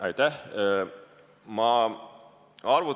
Aitäh!